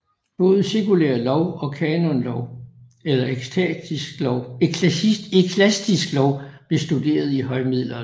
Både sekulær lov og kanonlov eller eklastisk lov blev studeret i højmiddelalderen